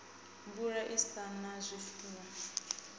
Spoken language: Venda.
mvula i sa na zwifuwo